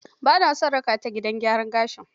Ba naa son raka taa gidan gyaran gashi.